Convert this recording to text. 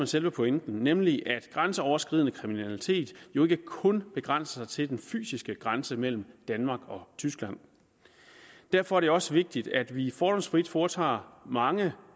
selve pointen nemlig at grænseoverskridende kriminalitet jo ikke kun begrænser sig til den fysiske grænse mellem danmark og tyskland derfor er det også vigtigt at vi fordomsfrit foretager mange